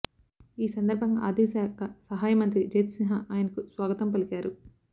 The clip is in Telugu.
ఈ సందర్భంగా ఆర్థికశాఖ సహాయ మంత్రి జయంత్సిన్హా ఆయనకు స్వాగతం పలికారు